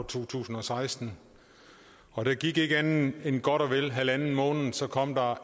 to tusind og seksten og der gik ikke andet end godt og vel en en halv måned så kom der